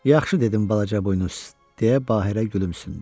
Yaxşı dedin, balaca buynuz, deyə Bahirə gülümsündü.